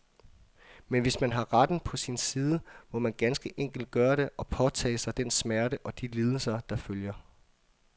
Men hvis man har retten på sin side, så må man ganske enkelt gøre det, og påtage sig den smerte og de lidelser, der følger.